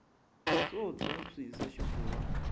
swo tshwa swi hisa xifura